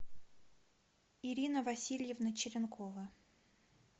ирина васильевна черенкова